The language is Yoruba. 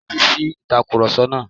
Tẹ́ti si ìtakurọ̀sọ náà.